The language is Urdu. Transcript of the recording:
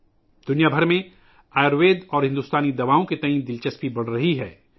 پوری دنیا میں آیوروید اور بھارتی ادویات میں دلچسپی بڑھ رہی ہے